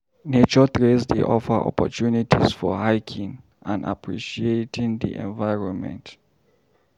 Nature trails dey offer opportunities for hiking and appreciating the environment.